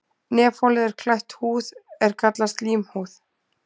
Nefholið er klætt húð er kallast slímhúð.